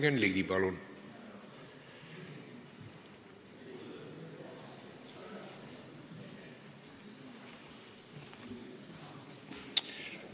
Jürgen Ligi, palun!